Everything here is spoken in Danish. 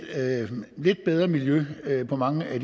bedre miljø på mange af